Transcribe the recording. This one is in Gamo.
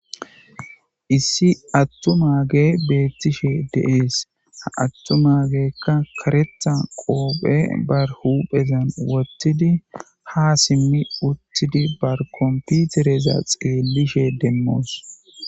Issi attumaage beettishe de7ees. Ha attumaageekka karetha qoophe barhuphezan wottidi ha simmi uttidi bar komputereza xeellishe demmoos.